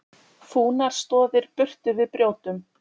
Fúnar stoðir burtu við brjótum!